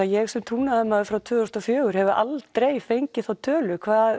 ég sem trúnaðarmaður síðan tvö þúsund og fjögur hef aldrei fengið þá tölu hvað